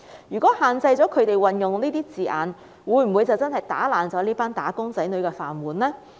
如果限制了他們運用這些字眼，會否真的打破這群"打工仔女"的"飯碗"呢？